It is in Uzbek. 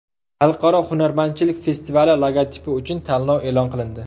Xalqaro hunarmandchilik festivali logotipi uchun tanlov e’lon qilindi.